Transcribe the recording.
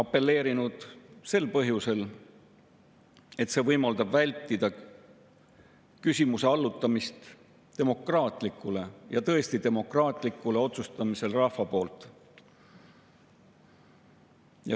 Seda sel põhjusel, et see võimaldab vältida küsimuse allutamist demokraatlikule, tõesti demokraatlikule otsustamisele rahva poolt.